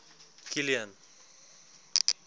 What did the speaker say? kilian